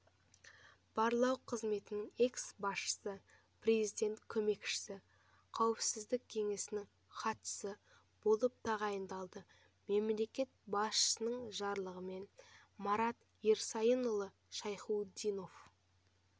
барлау қызметінің экс-басшысы президент көмекшісі қауіпсіздік кеңесінің хатшысы болып тағайындалды мемлекет басшысының жарлығымен марат ерсайынұлы шайхутдинов